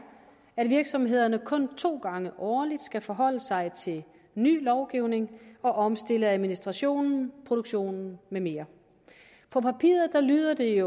at virksomhederne kun to gange årligt skal forholde sig til ny lovgivning og omstille administrationen produktionen med mere på papiret lyder det